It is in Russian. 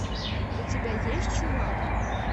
у тебя есть чувак